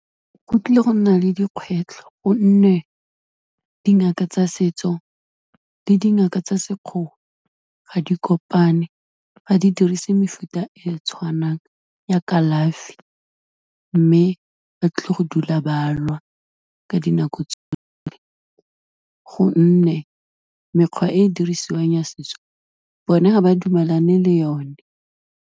Go tlile go nna le dikgwetlho, gonne dingaka tsa setso le dingaka tsa sekgowa ga di kopane, ga di dirise mefuta e tshwanang ya kalafi, mme ba tlile go dula balwa ka dinako tsotlhe, gonne mekgwa e e dirisiwang ya setso bone ga ba dumelane le yone.